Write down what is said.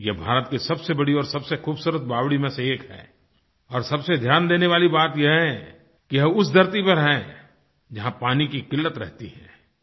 ये भारत की सबसे बड़ी और खूबसूरत बावड़ी में से एक है और सबसे ध्यान देने वाली बात ये है कि वह उस धरती पर है जहाँ पानी की क़िल्लत रहती है